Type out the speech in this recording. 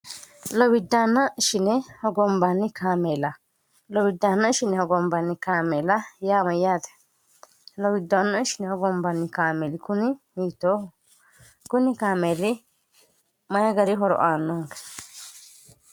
lowiddannshine hogombanni kaameela lowiddaanna shine hogombaanni kaameela yaama yaate lowiddaanno shine hogombanni kaameeli kuni hiitooho kuni kaameeli mayi gari horoaannonge